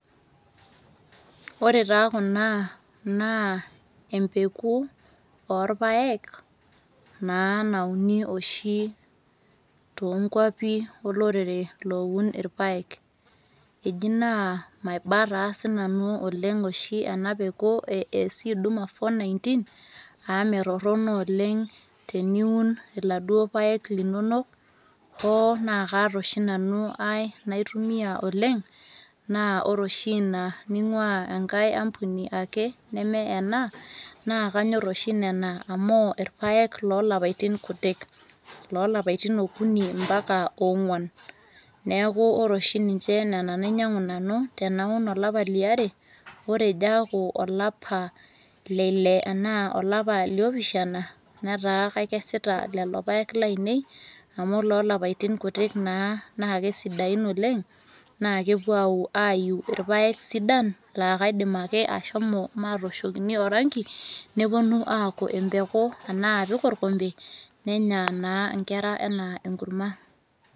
Ore taa kuna naa empeku oorpaek naa nauni oshi toonkuapi olorere looun irpaek. Eji naa maiba taa sinanu oleng' oshi ena peku e SC duma419 aamee torrono oleng' teniun iladuo paek linonok hoonaa kaata oshi nanu ai naitumia oleng' naa ore oshi ina ning'uaa enkae ampuni ake neme ena naakanyorr oshi nena amu irpaek loolapaitin kutik. Lolapaitin okuni mpaka ong'uan. Neaku ore oshi ninche nena nainyang'u nanu tenaun olapa liare ore ejoeaku olapa leille anaa olapa liopishana netaa kakesita lelo paek lainei amu loolapaitin kutik naa naakesidain oleng' naakepuo aiyu irpaek sidan laakaidim ake ashomo maatoshokini orangi nepuonu aaku empeku anaa apik orkonde nenya naa nkera enaa enkurma.